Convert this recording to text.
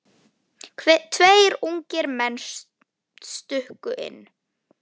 Tveir ungir menn stukku inn.